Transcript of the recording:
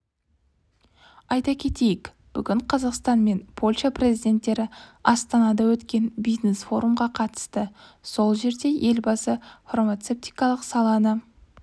айта кетейік бүгін қазақстан мен польша президенттері астанада өткен бизнес-форумға қатысты сол жерде елбасы фармацевтикалық саланы